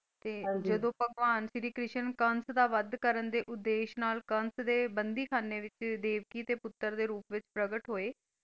ਤੇ ਹਾਂਜੀ ਜਦੋਂ ਭਗਵਾਨ ਸ਼੍ਰੀ ਕ੍ਰਿਸ਼ਨ ਕੰਸ ਦਾ ਵੱਧ ਕਰਨ ਦੇ ਉਦੇਸ਼ ਨਾਲ ਕੰਸ ਦੇ ਬੰਦੀਖਾਨੇ ਵਿੱਚ ਦੇਵਕੀ ਦੇ ਪੁੱਤਰ ਦੇ ਰੂਪ ਵਿੱਚ ਪ੍ਰਗਟ ਹੋਏ।